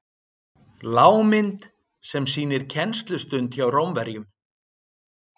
Lágmynd sem sýnir kennslustund hjá Rómverjum.